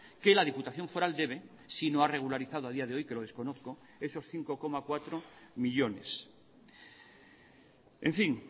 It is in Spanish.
que la diputación foral debe si no ha regularizado a día de hoy que lo desconozco esos cinco coma cuatro millónes en fin